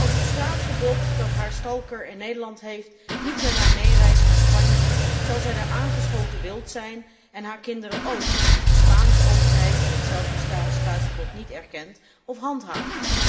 Als het straatverbod dat haar in Nederland heeft, niet met haar meereist naar Spanje, zal zij daar aangeschoten wild zijn en haar kinderen óók, als de Spaanse overheid datzelfde straatverbod niet erkent of handhaaft.